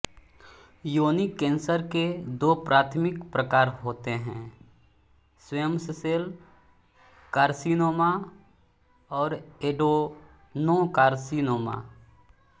योनि कैंसर के दो प्राथमिक प्रकार होते हैं स्क्वैमससेल कार्सिनोमा और एडेनोकार्सीनोमा